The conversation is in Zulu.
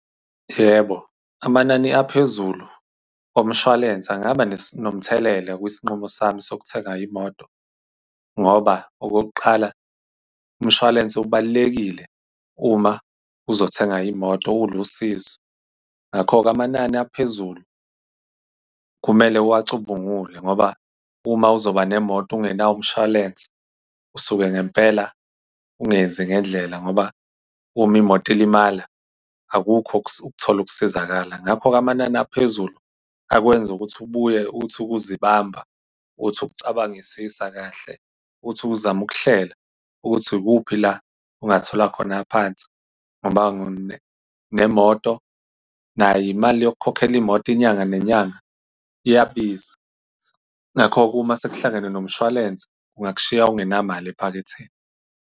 Yebo, amanani aphezulu komshwalense angaba nomthelela, kwisinqumo sami sokuthenga imoto. Ngoba okokuqala umshwalense ubalulekile uma uzothenga imoto, ulusizo. Ngakho-ke amanani aphezulu kumele uwacubungule ngoba uma uzoba nemoto ungenawo umshwalense usuke ngempela ungenzi ngendlela ngoba uma imoto ilimala akukho ukuthola ukusizakala. Ngakho-ke amanani aphezulu akwenza ukuthi ubuye uthi ukuzibamba, uthi ukucabangisisa kahle, uthi ukuzama ukuhlela ukuthi ikuphi la ongathola khona aphansi. Ngoba nemoto nayo imali yokukhokhela imoto inyanga nenyanga, iyabiza. Ngakho-ke, uma sekuhlangene nomshwalense, kungakushiya ungenamali ephaketheni.